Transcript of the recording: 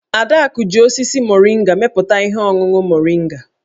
Adaku ji osisi moringa mepụta ihe ọṅụṅụ moringa.